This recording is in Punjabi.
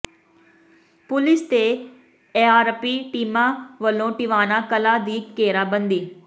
ਪੁਲੀਸ ਤੇ ਏਆਰਪੀ ਟੀਮਾਂ ਵੱਲੋਂ ਟਿਵਾਣਾ ਕਲਾਂ ਦੀ ਘੇਰਾਬੰਦੀ